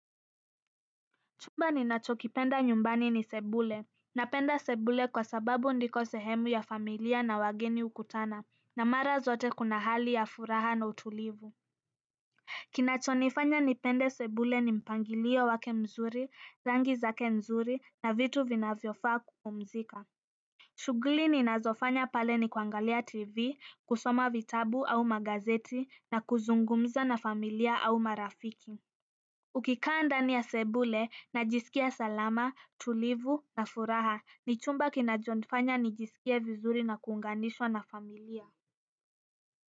Chumba ninachokipenda nyumbani ni sebule, napenda sebule kwa sababu ndiko sehemu ya familia na wageni hukutana na mara zote kuna hali ya furaha na utulivu kinachonifanya nipende sebule ni mpangilio wake mzuri, rangi zake mzuri, na vitu vinavyofaa kupumzika. Shughuli ninazofanya pale ni kuangalia tv, kusoma vitabu au magazeti, na kuzungumza na familia au marafiki. Ukikaa ndani ya sebule najisikia salama tulivu na furaha ni chumba kinachonifanya nijisikie vizuri na kuunganishwa na familia.